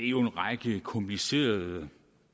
jo af en række komplicerede